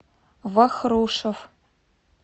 вахрушев